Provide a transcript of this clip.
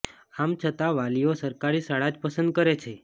આમ છતા વાલીઓ સરકારી શાળા જ પસંદ કરે છે